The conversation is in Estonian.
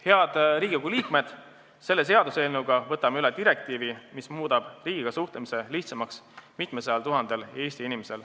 Head Riigikogu liikmed, selle seaduseelnõuga võtame üle direktiivi, mis muudab riigiga suhtlemise lihtsamaks mitmesajal tuhandel Eesti inimesel.